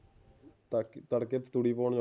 ਤੜਕੇ ਤੂੜੀ ਪਾਣ ਜਾਣਾ